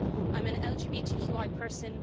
I'm an LGBTQI person.